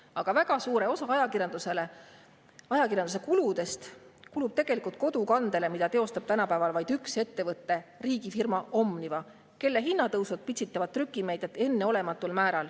Aga väga suur osa ajakirjanduse kuludest kulub tegelikult kodukandele, mida teostab tänapäeval vaid üks ettevõte, riigifirma Omniva, kelle hinnatõusud pitsitavad trükimeediat enneolematul määral.